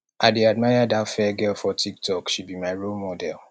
i dey admire dat fair girl for tiktok she be my role model